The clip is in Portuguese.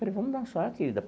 Falei, vamos dançar, querida.